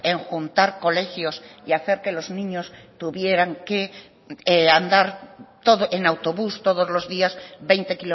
en juntar colegios y hacer que los niños tuvieran que andar en autobús todos los días veinte